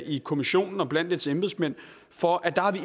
i kommissionen og blandt dens embedsmænd for at